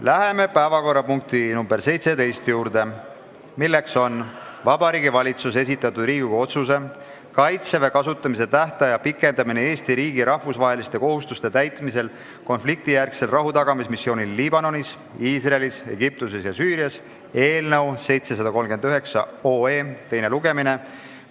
Läheme päevakorrapunkti nr 17 juurde, milleks on Vabariigi Valitsuse esitatud Riigikogu otsuse "Kaitseväe kasutamise tähtaja pikendamine Eesti riigi rahvusvaheliste kohustuste täitmisel konfliktijärgsel rahutagamismissioonil Liibanonis, Iisraelis, Egiptuses ja Süürias" eelnõu teine lugemine.